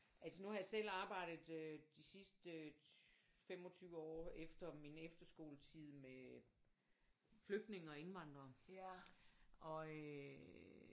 Altså nu har jeg selv arbejdet øh de sidste 25 år efter min efterskoletid med flygtninge og indvandrere og øh